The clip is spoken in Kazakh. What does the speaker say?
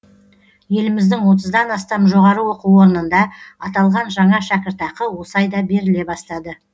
еліміздің отыздан астам жоғары оқу орнында аталған жаңа шәкіртақы осы айда беріле бастады